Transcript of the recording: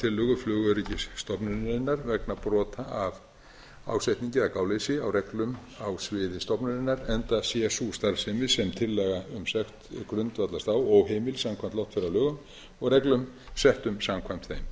tillögu flugöryggisstofnunarinnar vegna brota af ásetningu eða gáleysi á reglum á sviði stofnunarinnar enda sé sú starfsemi sem tillaga um sekt grundvallast á óheimil samkvæmt loftferðalögum og reglum settum samkvæmt þeim þessi